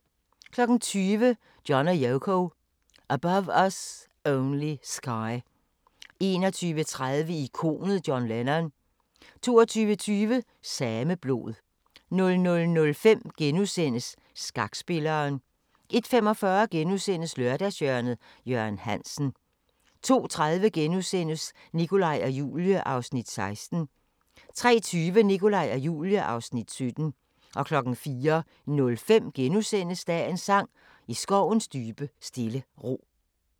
20:00: John & Yoko – Above Us Only Sky 21:30: Ikonet John Lennon 22:20: Sameblod 00:05: Skakspilleren * 01:45: Lørdagshjørnet – Jørgen Hansen * 02:30: Nikolaj og Julie (Afs. 16)* 03:20: Nikolaj og Julie (Afs. 17) 04:05: Dagens sang: I skovens dybe stille ro *